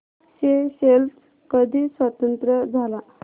Seychelles कधी स्वतंत्र झाला